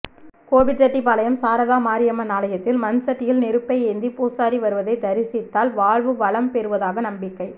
கோபிசெட்டிபாளையம் சாரதா மாரியம்மன் ஆலயத்தில் மண்சட்டியில் நெருப்பை ஏந்தி பூசாரி வருவதை தரிசித்தால் வாழ்வு வளம் பெறுவதாக நம்பிக்கை